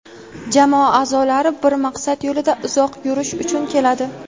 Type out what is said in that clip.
jamoa aʼzolari bir maqsad yo‘lida uzoq yurish uchun keladi;.